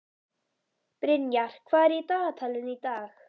Brynjar, hvað er í dagatalinu í dag?